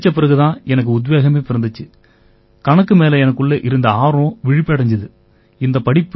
அதைப் படிச்ச பிறகு தான் எனக்கு உத்வேகமே பிறந்திச்சு கணக்கு மேல எனக்குள்ள இருந்த ஆர்வம் விழிப்படைஞ்சுது